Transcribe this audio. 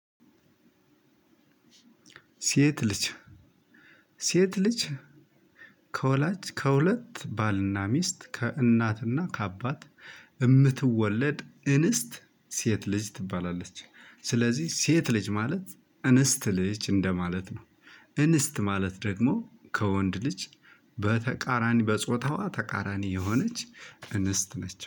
ሴት ልጅ ሴት ልጅ ከወላጅ ከሁለት ባልና ሚስት ከእናትና ከአባት የምትወለድ እንስት ሴት ልጅ ትባላለች ስለዚህ ሴት ልጅ ማለት እንስት ልጅ እንደማለት ነው። እንስት ማለት ደግሞ ከወንድ ልጅ በተቃራኒ በጾታዋ ተቃራኒ የሆነች እንስት ነች